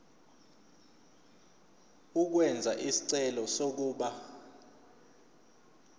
ukwenza isicelo sokuba